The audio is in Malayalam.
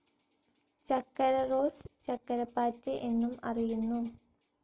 ചക്കരറോസ്, ചക്കരപാറ്റ് എന്നും അറിയുന്നു.